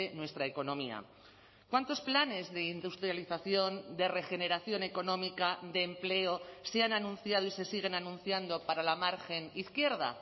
nuestra economía cuántos planes de industrialización de regeneración económica de empleo se han anunciado y se siguen anunciando para la margen izquierda